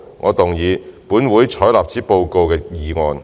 我動議"本會採納此報告"的議案。